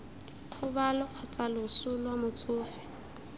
kgobalo kgotsa loso lwa motsofe